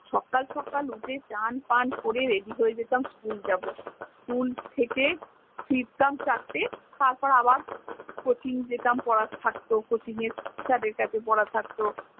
সকাল সকাল উথে চান ফান করে ready হয়ে যেতাম school যাব school থেকে ফিরতাম চারটে তারপর আবার কচিন যেতাম পরা থাকত কচিনের sir এর কাছে পরা থাকত